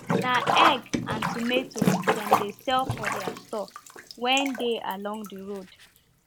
na egg and tomatoes dem dey sell for their store wen dey along the road